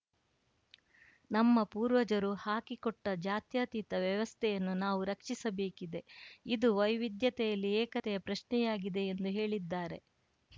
ನಮ್ಮ ಪೂರ್ವಜರು ಹಾಕಿಕೊಟ್ಟಜಾತ್ಯತೀತ ವ್ಯವಸ್ಥೆಯನ್ನು ನಾವು ರಕ್ಷಿಸಬೇಕಿದೆ ಇದು ವೈವಿದ್ಯತೆಯಲ್ಲಿ ಏಕತೆಯ ಪ್ರಶ್ನೆಯಾಗಿದೆ ಎಂದು ಹೇಳಿದ್ದಾರೆ